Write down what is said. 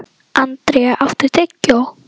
André, áttu tyggjó?